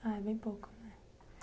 Ah, é bem pouco, né.